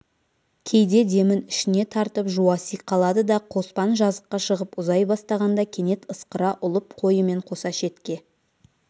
кейде демін ішіне тартып жуаси қалады да қоспан жазыққа шығып ұзай бастағанда кенет ысқыра ұлып қойымен қоса шетке